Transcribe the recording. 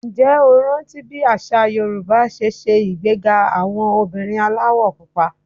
Ǹjẹ́ o rántí bí àṣà Yorùbá ṣe ṣe ìgbéga àwọn obìnrin aláwọ̀ Pupa?